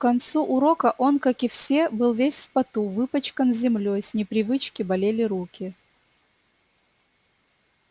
к концу урока он как и все был весь в поту выпачкан землёй с непривычки болели руки